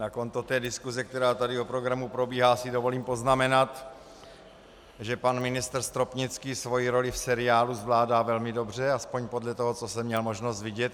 Na konto té diskuse, která tady o programu probíhá, si dovolím poznamenat, že pan ministr Stropnický svoji roli v seriálu zvládá velmi dobře, aspoň podle toho, co jsem měl možnost vidět.